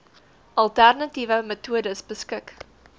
alternatiewe metodes beskik